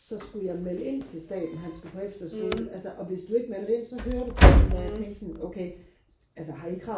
så skulle jeg melde ind til staten han skulle på efterskole altså og hvis du ikke meldte ind så hører du fra dem og jeg tænkte okay altså har I krav